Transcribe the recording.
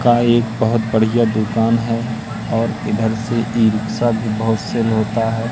का एक बहोत बढ़िया दुकान है और इधर से ई रिक्सा भी बहोत सेल होता है।